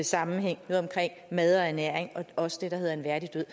sammenhæng mad og ernæring og også det der hedder en værdig død